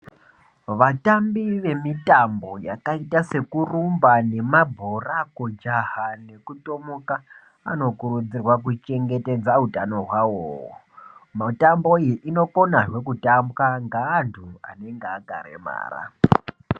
Vatambi vemitambo yakaita sekurumba , yemabhora, kujaha nekutomoka , anokurudzirwa kuchengeta hutano wawo. Mitambo iyi inokona zve kutambwa ngantu anenge akaremara.